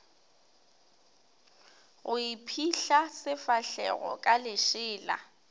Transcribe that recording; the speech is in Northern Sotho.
go iphihla sefahlego ka lešela